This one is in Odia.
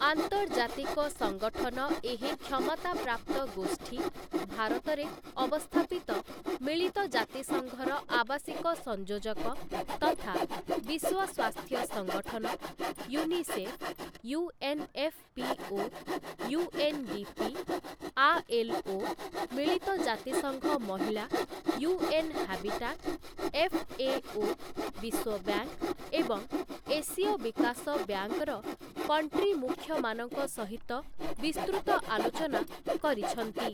ଆନ୍ତର୍ଜାତିକ ସଂଗଠନ ଏହି କ୍ଷମତାପ୍ରାପ୍ତ ଗୋଷ୍ଠୀ, ଭାରତରେ ଅବସ୍ଥାପିତ ମିଳିତ ଜାତିସଂଘର ଆବାସିକ ସଂଯୋଜକ ତଥା ବିଶ୍ୱ ସ୍ୱାସ୍ଥ୍ୟ ସଂଗଠନ, ୟୁନିସେଫ୍, ୟୁଏନ୍ଏଫ୍‌ପିଓ, ୟୁଏନ୍‌ଡ଼ିପି, ଆଏଲ୍ଓ, ମିଳିତ ଜାତିସଂଘ ମହିଳା, ୟୁଏନ୍ ହାବିଟାଟ୍, ଏଫ୍ଏଓ, ବିଶ୍ୱ ବ୍ୟାଙ୍କ୍ ଏବଂ ଏସୀୟ ବିକାଶ ବ୍ୟାଙ୍କର କଣ୍ଟ୍ରି ମୁଖ୍ୟମାନଙ୍କ ସହିତ ବିସ୍ତୃତ ଆଲୋଚନା କରିଛନ୍ତି ।